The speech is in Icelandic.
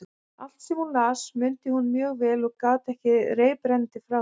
Allt, sem hún las, mundi hún mjög vel og gat sagt reiprennandi frá því.